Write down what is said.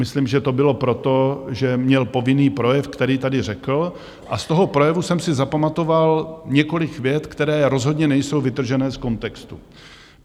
Myslím, že to bylo proto, že měl povinný projev, který tady řekl, a z toho projevu jsem si zapamatoval několik vět, které rozhodně nejsou vytržené z kontextu.